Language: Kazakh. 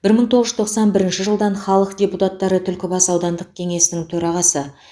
бір мың тоғыз жүз тоқсан бірінші жылдан халық депутаттары түлкібас аудандық кеңесінің төрағасы